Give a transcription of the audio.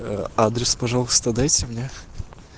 ээ адрес пожалуйста дайте мне